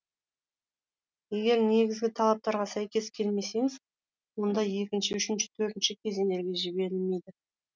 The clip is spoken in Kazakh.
егер негізгі талаптарға сәйкес келмесеңіз онда екінші үшінші төртінші кезеңдерге жіберілмейді